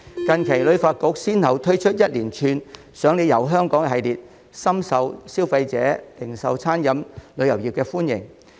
近期，旅發局先後推出一連串"賞你遊香港"活動，深受消費者和零售、餐飲及旅遊業界歡迎。